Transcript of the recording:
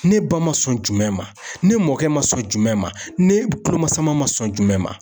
Ne ba ma sɔn jumɛn ma ne mɔkɛ ma sɔn jumɛn ma ne bolo masama ma sɔn jumɛn ma?